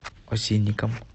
осинникам